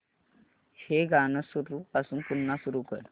हे गाणं सुरूपासून पुन्हा सुरू कर